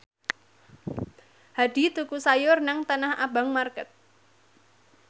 Hadi tuku sayur nang Tanah Abang market